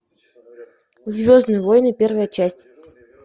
звездные войны первая часть